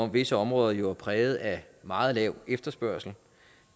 visse områder jo er præget af meget lav efterspørgsel